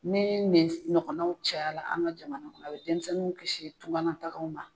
Ni nin ɲɔgɔnnaw caya la, an ga jamana kɔnɔ, a bi denmisɛnnu kisi tunga na tagaw na